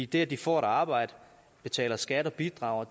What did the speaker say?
det at de får et arbejde betaler skat og bidrager